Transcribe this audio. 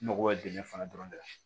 N mago bɛ dingɛ fana dɔrɔn de la